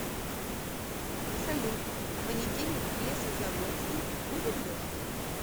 салют в понедельник в лесозаводский будет дождь